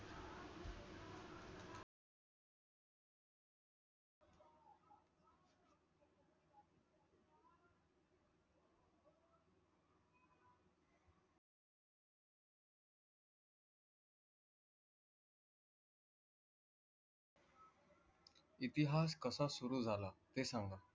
इतिहास कसा सुरु जाला ते सांगा